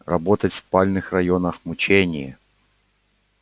работать в спальных районах мучение